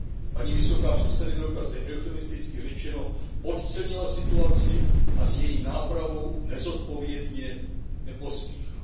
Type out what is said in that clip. Paní vysoká představitelka zde eufemisticky řečeno podcenila situaci a s její nápravou nezodpovědně nepospíchá.